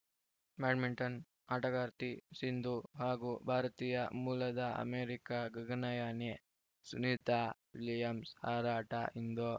badminton ಆಟಗಾರ್ತಿ ಸಿಂಧು ಹಾಗೂ ಭಾರತೀಯ ಮೂಲದ ಅಮೆರಿಕ ಗಗನಯಾನಿ ಸುನೀತಾ ವಿಲಿಯಮ್ಸ್‌ ಹಾರಾಟ ಇಂದು